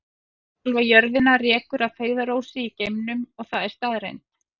Sjálfa jörðina rekur að feigðarósi í geimnum og það er staðreynd.